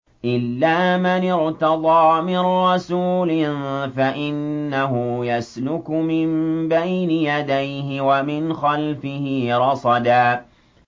إِلَّا مَنِ ارْتَضَىٰ مِن رَّسُولٍ فَإِنَّهُ يَسْلُكُ مِن بَيْنِ يَدَيْهِ وَمِنْ خَلْفِهِ رَصَدًا